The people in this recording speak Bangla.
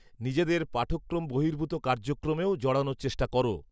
-নিজেদের পাঠক্রম বহির্ভূত কার্যক্রমেও জড়ানোর চেষ্টা করো।